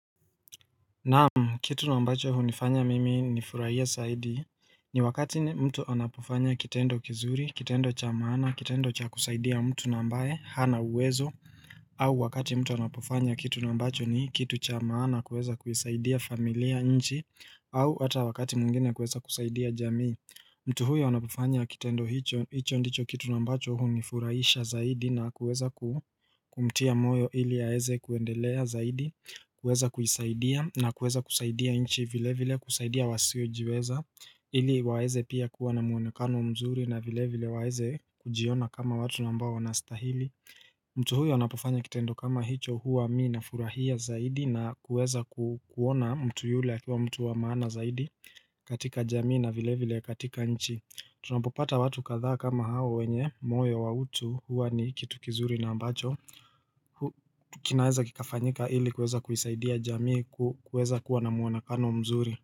Naam, kitu na ambacho hunifanya mimi ni furahie zaidi ni wakati mtu anapofanya kitendo kizuri, kitendo cha maana, kitendo cha kusaidia mtu na ambaye, hana uwezo au wakati mtu anapofanya kitu na ambacho ni kitu cha maana kuweza kuisaidia familia nchi au ata wakati mwingine kuweza kusaidia jamii mtu huyo anapofanya kitendo hicho hicho ndicho kitu na ambacho hunifurahisha zaidi na kuweza kumtia moyo ili aweze kuendelea zaidi kuweza kujisaidia na kuweza kusaidia nchi vile vile kusaidia wasiojiweza ili waweze pia kuwa na mwonekano mzuri na vile vile waeze kujiona kama watu na ambao wanastahili mtu huyo anapofanya kitendo kama hicho huwa mimi nafurahia zaidi na kuweza kuona mtu yule akiwa mtu wa maana zaidi katika jamii na vile vile katika nchi Tunapopata watu kadhaa kama hao wenye moyo wa utu huwa ni kitu kizuri na ambacho kinaweza kikafanyika ili kuweza kuisaidia jamii kuweza kuwa na muonekano mzuri.